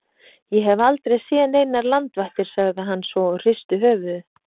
Ég hef aldrei séð neinar landvættir sagði hann svo og hristi höfuðið.